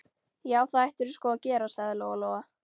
Já, það ættirðu sko að gera, sagði Lóa Lóa.